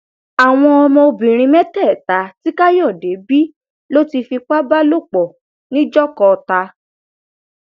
àwọn ọmọbìnrin mẹtẹẹta tí káyọdé bí ló ti fipá bá lò pọ nìjọkọọta